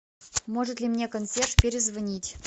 может ли мне консьерж перезвонить